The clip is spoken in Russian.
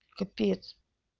капец